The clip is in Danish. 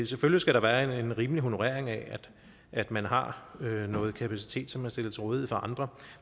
selvfølgelig skal der være en rimelig honorering af at man har noget kapacitet som stilles til rådighed for andre